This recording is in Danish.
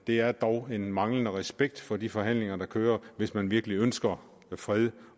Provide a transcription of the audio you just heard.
det er dog en manglende respekt for de forhandlinger der kører hvis man virkelig ønsker fred